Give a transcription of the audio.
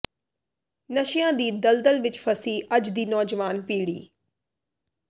ਨਸ਼ਿਆਂ ਦੀ ਦਲ ਦਲ ਵਿਚ ਫਸੀ ਅੱਜ ਦੀ ਨੌਜਵਾਨ ਪੀੜੀ